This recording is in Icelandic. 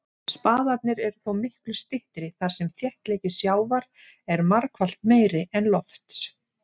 Spaðarnir eru þó miklu styttri þar sem þéttleiki sjávar er margfalt meiri en lofts.